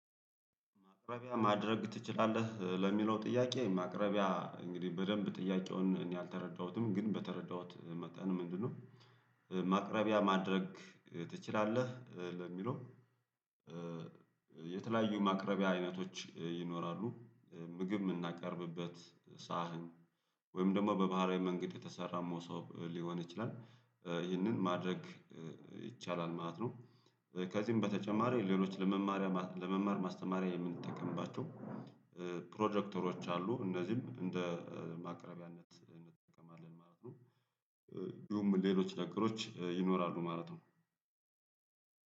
ማቅረቢያ ማድረግ ትችላለህ ለሚለው ጥያቄ ማቅረቢያ እንግዲህ በደንብ ጥያቄውን እኔ አልተረዳሁትም ግን በተረዳሁት መጠን ምንድነው? ማቅረቢያ ማድረግ ትችላለህ ለሚለው። የተለያዩ ማቅረቢያ አይነቶች ይኖራሉ ምግብ የምናቀርብበት ሳህን ወይም ደግሞ በባህላዊ መንገድ ከተሰራ መሶብ ሊሆን ይችላል ይህንን ማድረግ ይቻላል ማለት ነው። ከዚህም በተጨማሪ ሌሎች ለመማሪያ ለመማር ማስተማሪያ የምንጠቀምባቸው ፕሮጀክተሮች አሉ እነዚህም እንደ ማቅረቢያነት እንጠቀማለን ማለት ነው። ይሁም ሌሎች ነገሮች ይኖራሉ ማለት ነው።